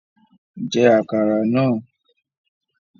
Jẹ́ àkàrà náà!